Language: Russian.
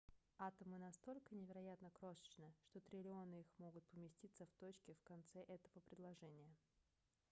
атомы настолько невероятно крошечны что триллионы их могут поместиться в точке в конце этого предложения